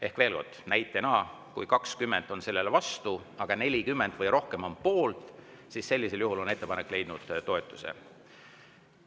Ehk veel kord, näitena: kui 20 on vastu, aga 40 või rohkem on poolt, siis on ettepanek leidnud toetuse.